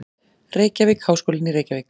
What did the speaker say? Reykjavík: Háskólinn í Reykjavík.